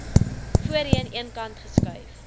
voorheen eenkant geskuif